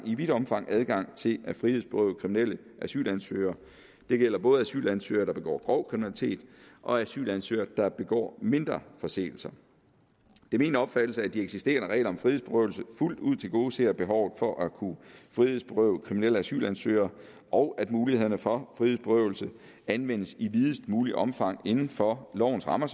i vidt omfang adgang til at frihedsberøve kriminelle asylansøgere det gælder både asylansøgere der begår grov kriminalitet og asylansøgere der begår mindre forseelser det er min opfattelse at de eksisterende regler om frihedsberøvelse fuldt ud tilgodeser behovet for at kunne frihedsberøve kriminelle asylansøgere og at mulighederne for frihedsberøvelse anvendes i videst muligt omfang selvfølgelig inden for lovens rammer